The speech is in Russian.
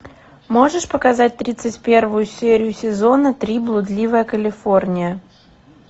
можешь показать тридцать первую серию сезона три блудливая калифорния